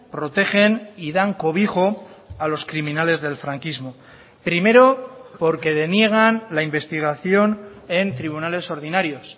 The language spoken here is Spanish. protegen y dan cobijo a los criminales del franquismo primero porque deniegan la investigación en tribunales ordinarios